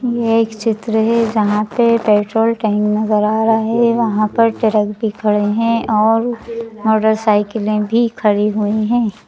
यह एक चित्र है जहां पे पेट्रोल टैंक नजर आ रहा है वहां पर ट्रक भी खड़े हैं और मोटरसाइकिलें भी खड़ी हुई हैं।